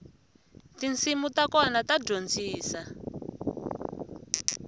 tinsimu ta kona ta dyondzisa